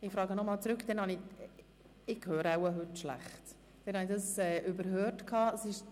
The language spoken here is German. Ich habe überhört, dass Ziffer 1 in ein Postulat umgewandelt worden ist.